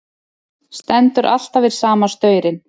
Stendur alltaf við sama staurinn.